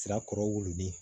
Sira kɔrɔ wololen